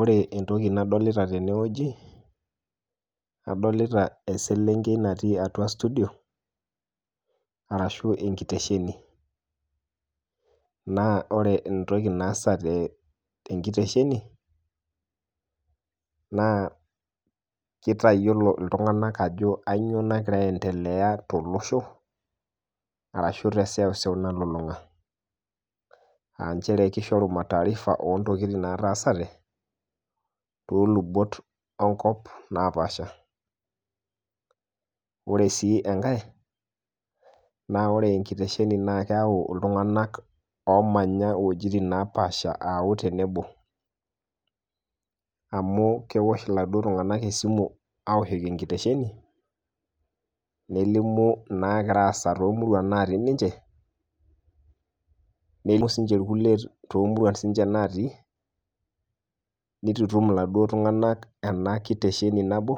Ore entoki nadolita teneweji adolita eselenkei natii atua studio arashu enkiresheni naa ore entoki naasa te inkeresheni naa keitayolo ltunganak ajo kanyioo nagir aiendelea to losho arashu te seuseu nalulung'a, ss inchere keisheru mataarifa oo ntokitin nataasate too lubot onkop napaasha, ore sii enkae naa ore enkirersheni naa keyau iltunganak oomanya wejitin napaasha aayau tenebo, amu keosh eladok tungana esimu, aoshoki enkiresheni nelimu naagira aasa too murua natii ninche, nelimu sii ninche lkule too muruatin natii, neitutum kaduok tungana ena inkeresheni nabo,